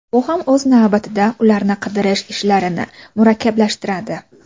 Bu ham o‘z navbatida ularni qidirish ishlarini murakkablashtiradi.